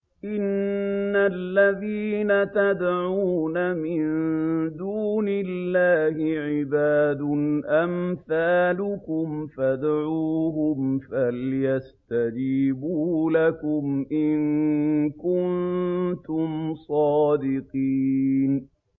إِنَّ الَّذِينَ تَدْعُونَ مِن دُونِ اللَّهِ عِبَادٌ أَمْثَالُكُمْ ۖ فَادْعُوهُمْ فَلْيَسْتَجِيبُوا لَكُمْ إِن كُنتُمْ صَادِقِينَ